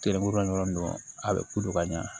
Telemoro dɔrɔn a bɛ ko don ka ɲɛ